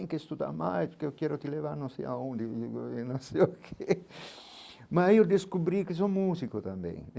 Estudar mais porque eu quero te levar não sei a onde e não sei o que Mas eu descobri que sou músico também.